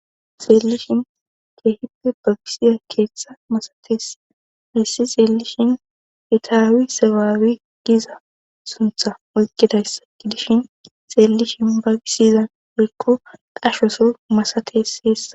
xeellishin keehippe babisiza keeththa masates hayssi xeelishin itaawi sabaawi giza suntha oykkidayssa gidishin xeellishin bagisizan hiikko dashoso masates heessa